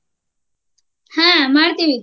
ಹ್ಮ ಮಾಡ್ತೀವಿ.